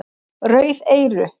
Rauð eyru